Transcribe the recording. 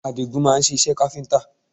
Àdigún máa ń ṣe iṣẹ́ káfíńtà